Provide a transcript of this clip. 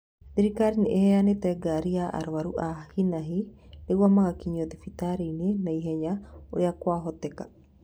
Thirikali nĩ ĩheanĩte ngari ya arwaru a hinanahi nĩguo magakinyagio thibitarĩini naihenya urĩa kwahoteka